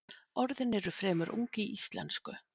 Orðin eru fremur ung í íslensku.